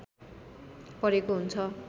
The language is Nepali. परेको हुन्छ